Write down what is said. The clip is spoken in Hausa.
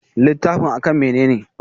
Littafin a kan mene ne?